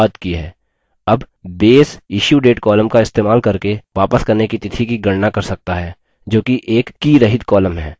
अब base issuedate column का इस्तेमाल करके वापस करने की तिथि की गणना कर सकता है जोकि एक कीरहित nonkey column है